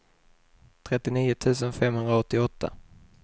trettionio tusen femhundraåtta